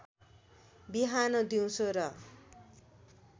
बिहान दिउँसो र